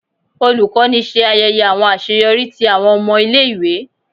Olukọni ṣe ayẹyẹ awọn aṣeyọri ti awọn ọmọ ile-iwe.